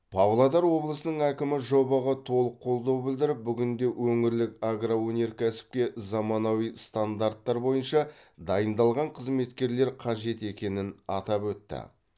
павлодар облысының әкімі жобаға толық қолдау білдіріп бүгінде өңірлік агроөнеркәсіпке заманауи стандарттар бойынша дайындалған қызметкерлер қажет екенін атап өтті